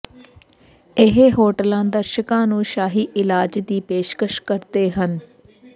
ਇਹ ਹੋਟਲਾਂ ਦਰਸ਼ਕਾਂ ਨੂੰ ਸ਼ਾਹੀ ਇਲਾਜ ਦੀ ਪੇਸ਼ਕਸ਼ ਕਰਦੇ ਹਨ